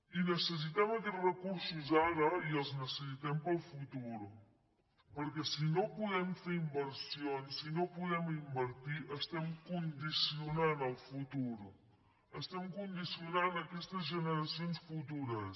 i necessitem aquests recursos ara i els necessitem per al futur perquè si no podem fer inversions si no podem invertir estem condicionant el futur estem condicionant aquestes generacions futures